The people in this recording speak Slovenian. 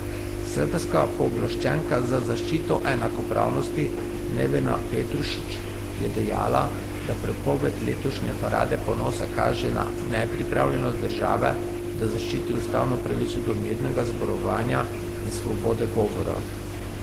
Srbska pooblaščenka za zaščito enakopravnosti Nevena Petrušić je dejala, da prepoved letošnje parade ponosa kaže na nepripravljenost države, da zaščiti ustavno pravico do mirnega zborovanja in svobode govora.